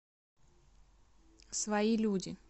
свои люди